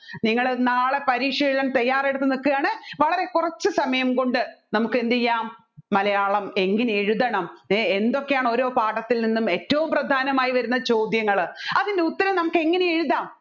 നിങ്ങൾ നാളെ പരീക്ഷ എഴുതാൻ തയ്യാറെടുത്ത് നിൽക്കുയാണു വളരെ കുറച്ച് സമയം കൊണ്ട് നമ്മുക്ക് എന്ത് ചെയ്യാം മലയാളം എങ്ങനെ എഴുതണം എ എന്തൊക്കെയാണ് ഏതൊക്കെ പാഠത്തിൽ നിന്ന് ഏറ്റവും പ്രധാനമായി വരുന്ന ചോദ്യങ്ങൾ അതിൻറെ ഉത്തരം നമ്മുക്ക് എങ്ങനെ എഴുതാം